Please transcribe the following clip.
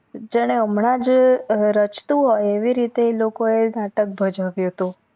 જાણે હામનજ રાચતું હોય એવી રીતે એ લોકો એ નાટક ભજવ્યું હતું